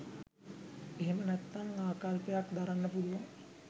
එහෙමත් නැත්නම් ආකල්පයක් දරන්න පුළුවන්.